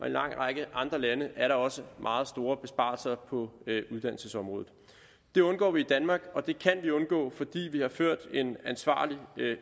en lang række andre lande er der også meget store besparelser på uddannelsesområdet det undgår vi i danmark og det kan vi undgå fordi vi har ført en ansvarlig